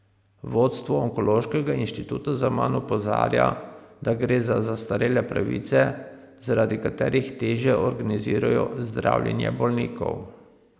Vodstvo Onkološkega inštituta zaman opozarja, da gre za zastarele pravice, zaradi katerih težje organizirajo zdravljenje bolnikov.